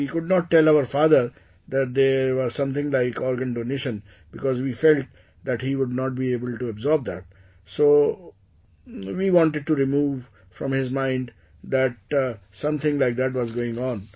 We could not tell our father that there is something like organ donation because we felt that he would not be able to absorb that, so, We wanted to remove from his mind that something like that was going on